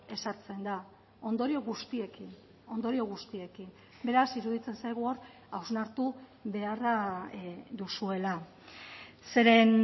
ezartzen da ondorio guztiekin ondorio guztiekin beraz iruditzen zaigu hor hausnartu beharra duzuela zeren